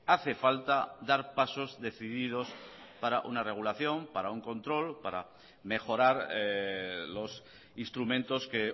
hace falta dar pasos decididos para una regulación para un control para mejorar los instrumentos que